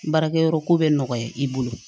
Baarakɛyɔrɔ ko bɛ nɔgɔya i bolo